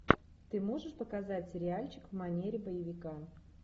ты можешь показать сериальчик в манере боевика